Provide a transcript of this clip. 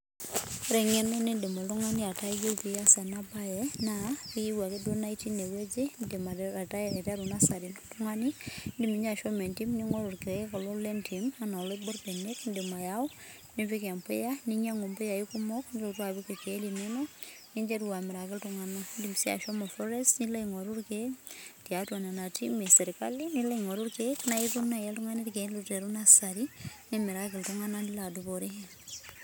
Ore eng'eno nidim oltung'ani ataa iyie pias enabae, naa iyieu ake duo naa itii inewueji, idim aiteru nasari oltung'ani, idim inye ashomo entim ning'oru irkeek kulo lentim enaa oloibor benek idim ayau, nipik empuya ninyang'u mpuyai kumok nilotu apik irkeek linonok, ninteru amiraki iltung'anak. Idim si ashomo forest nilo aing'oru irkeek, tiatua nena timi esirkali, nilo aing'oru irkeek na itum nai oltung'ani irkeek aiteru nasari, nimiraki iltung'anak nilo adupore.